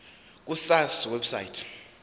ku sars website